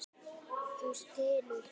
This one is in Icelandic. Þú stynur.